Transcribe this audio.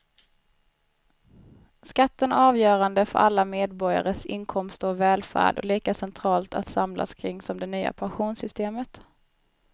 Skatten är avgörande för alla medborgares inkomster och välfärd och lika centralt att samlas kring som det nya pensionssystemet.